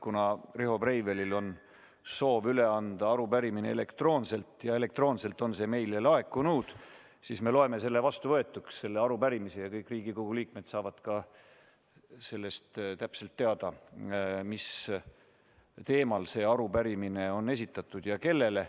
Kuna Riho Breivelil on soov üle anda arupärimine elektroonselt ja elektroonselt on see meile laekunud, siis me loeme selle arupärimise vastuvõetuks ja kõik Riigikogu liikmed saavad täpselt teada, mis teemal see arupärimine on esitatud ja kellele.